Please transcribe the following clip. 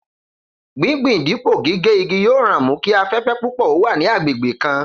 Gbígbin dípò gígé igi yóò ran mú kí afé̩fé̩ púpò̩ ó wà ní agbègbè kan